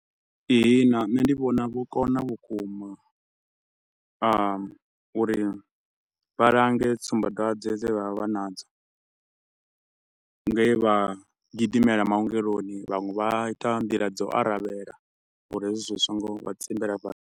Ihina nṋe ndi vhona vho kona vhukuma uri vha lange tsumbadwadze dze vha vha vha nadzo, nge vha gidimela maongeloni vhaṅwe vha ita nḓila dza u aravhela uri hezwi zwi so ngo vha tsimbela fha.